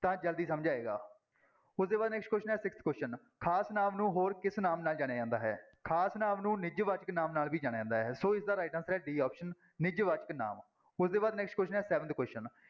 ਤਾਂ ਜ਼ਲਦੀ ਸਮਝ ਆਏਗਾ, ਉਹਦੇ ਬਾਅਦ next question ਹੈ sixth question ਖ਼ਾਸ ਨਾਂਵ ਨੂੰ ਹੋਰ ਕਿਸ ਨਾਮ ਨਾਲ ਜਾਣਿਆ ਜਾਂਦਾ ਹੈ ਖ਼ਾਸ ਨਾਂਵ ਨੂੰ ਨਿਜਵਾਚਕ ਨਾਂਵ ਨਾਲ ਵੀ ਜਾਣਿਆ ਜਾਂਦਾ ਹੈ, ਸੋ ਇਸਦਾ right answer ਹੈ d option ਨਿਜਵਾਚਕ ਨਾਂਵ ਉਸਦੇ ਬਾਅਦ next question ਹੈ seventh question